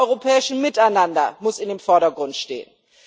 Das europäische Miteinander muss im Vordergrund stehen.